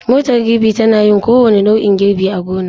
Motar girbi tana yin kowane nau'in girbi a gona.